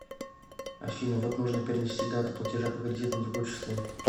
афина вот нужно перенести дату платежа по кредиту на другое число